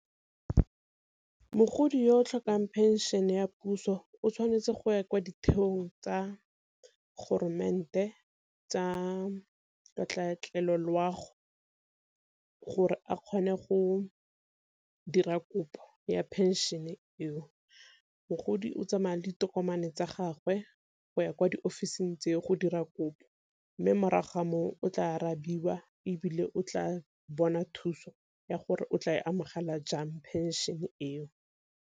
Ke mogodi yo o tlhokang phenšene ya puso o tshwanetse go ya kwa ditheong tsa tsa katlaatlelo loago gore a kgone go dira kopo ya phenšene eo. Mogodi o tsamaya le ditokomane tsa gagwe go ya kwa diofising tseo go dira kopo, mme morago ga moo o tla arabiwa ebile o tla bona thuso ya gore o tla e amogela jang pension eo.